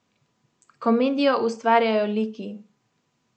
Komedijo ustvarjajo liki.